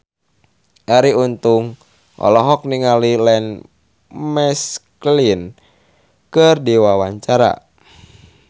Arie Untung olohok ningali Ian McKellen keur diwawancara